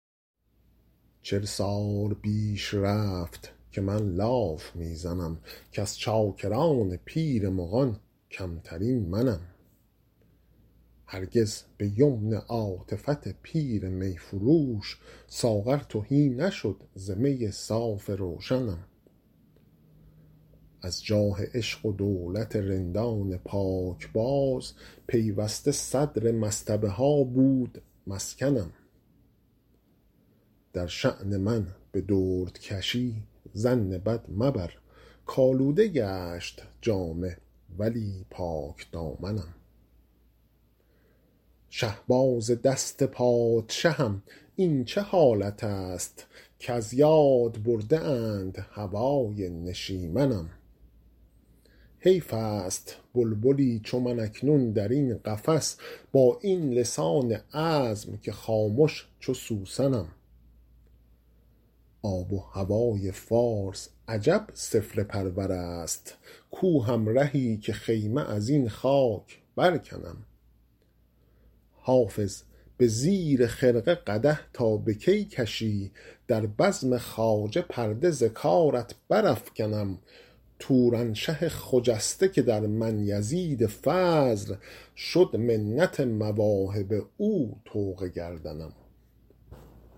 چل سال بیش رفت که من لاف می زنم کز چاکران پیر مغان کمترین منم هرگز به یمن عاطفت پیر می فروش ساغر تهی نشد ز می صاف روشنم از جاه عشق و دولت رندان پاکباز پیوسته صدر مصطبه ها بود مسکنم در شان من به دردکشی ظن بد مبر کآلوده گشت جامه ولی پاکدامنم شهباز دست پادشهم این چه حالت است کز یاد برده اند هوای نشیمنم حیف است بلبلی چو من اکنون در این قفس با این لسان عذب که خامش چو سوسنم آب و هوای فارس عجب سفله پرور است کو همرهی که خیمه از این خاک برکنم حافظ به زیر خرقه قدح تا به کی کشی در بزم خواجه پرده ز کارت برافکنم تورانشه خجسته که در من یزید فضل شد منت مواهب او طوق گردنم